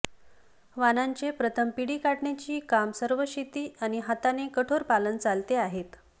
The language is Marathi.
वाणांचे प्रथम पिढी काढण्याची काम सर्व शेती आणि हाताने कठोर पालन चालते आहेत